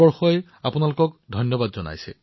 ভাৰতবাসী আপোনালোক সকলোৰে প্ৰতি কৃতজ্ঞ